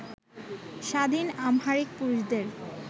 স্বাধীন আমহারিক পুরুষদের